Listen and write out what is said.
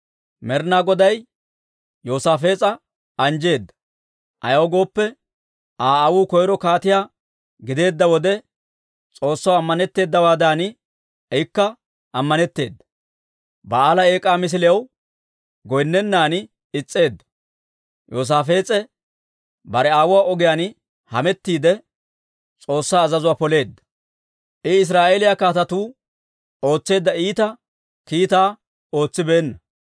Med'inaa Goday Yoosaafees'a anjjeedda; ayaw gooppe, Aa aawuu koyro kaatiyaa gideedda wode, S'oossaw ammanetteedawaadan, ikka ammanetteeda. Ba'aala eek'aa misiliyaw goynnennan is's'eedda. Yoosaafees'e bare aawuwaa Daawita ogiyaan hametiidde, S'oossaa azazuwaa poleedda. I Israa'eeliyaa kaatetuu ootseedda iita kiitaa ootsibeenna.